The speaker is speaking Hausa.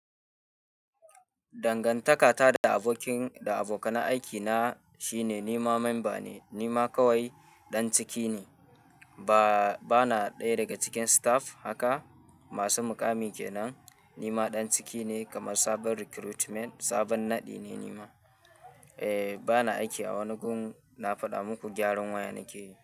Dangantakata da abokin da abokan aiki na shine nima memba ne, nima kawai ɗan ciki ne. Ba, bana ɗaya daga cikin staff haka. Masu muƙami kenan. Nima ɗan ciki ne kamar sabon recruitment, sabon naɗi ne nima. Eh bana aiki a wani gun, na faɗa muku gyaran waya nake yi.